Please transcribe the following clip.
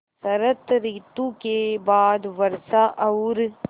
शरत ॠतु के बाद वर्षा और